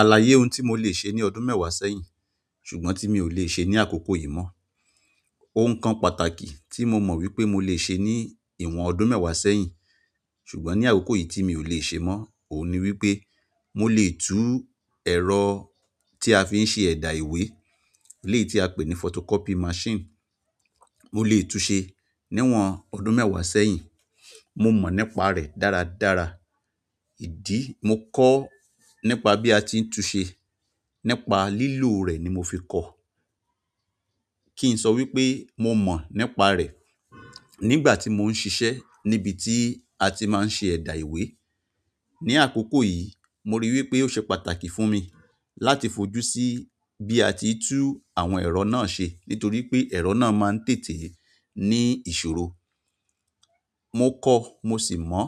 Àlàyé ohun tí mo lè ṣe ní ọdún mẹ́wàá sẹ́yìn ṣùgbọ́n tí mi ò lè ṣe ní àkókò yìí mọ́. Ohun kan pàtàkì ti mo mo wípé mo le se ni iwon ọdún mewa sẹ́yìn, ṣùgbọ́n ni akoko yi, ti mi o le se mo, ohun ni wípé, mo le tu ero ti a fi se eda ìwé, eleyi ti a pe ni photocopy machine mo le tunse ni iwon ọdún mewa sẹ́yìn. Mo mọ̀ nípa rẹ̀ dára dára. Idi- mo ko nípa bi a ti tunse, nípa lilo re ni mofi ko. Ki n so wípé mo mo nípa re, nígbà ti mo n sise nibiti àti ma n se eda ìwé. Ní àkókò yìí, mo rí i wípé ó ṣe pàtàkì fún mi láti fojú sí bí a ti ń tú àwọn ẹ̀rọ náà ṣe nítorí pé ẹ̀rọ náà máa ń tètè ní ìṣòro. Mo ko, mo si mo